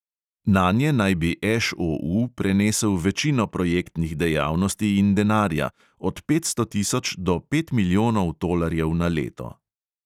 Nanje naj bi ŠOU prenesel večino projektnih dejavnosti in denarja, od petsto tisoč do pet milijonov tolarjev na leto.